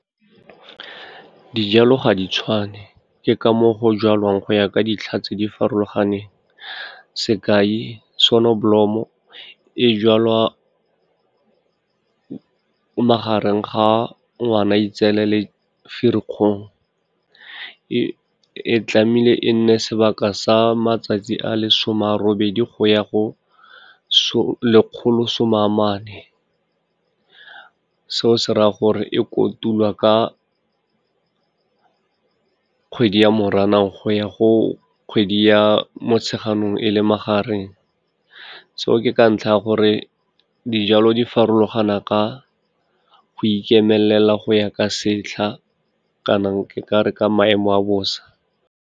Dijalo ga di tshwane, ke ka moo go jalwang go ya ka dintlha tse di farologaneng. Sekai sonobolomo, e jalwa magareng ga Ngwanaetseela le Ferikgong, e tlamehile e nne sebaka sa matsatsi a le some a robedi go ya go lekgolo some a mane, seo se raya gore e kotulwa ka kgwedi ya Moranang go ya go kgwedi ya Motsheganong e le magareng, seo ke ka ntlha ya gore dijalo di farologana ka go ikemelela go ya ka setlha, kana ke ka re ka maemo a bosa.